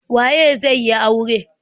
Waye zai yi aure.